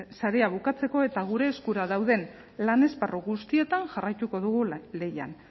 sarea bukatzeko eta gure eskura dauden lan esparru guztietan jarraituko dugu lehian